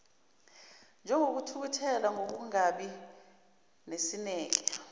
njengokuthukuthela nokungabi nesineke